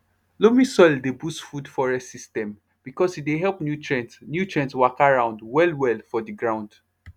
loamy soil dey boost food forest system because e dey help nutrient nutrient waka round wellwell for the ground